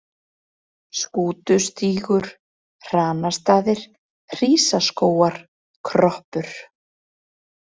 Skútustígur, Hranastaðir, Hrísaskógar, Kroppur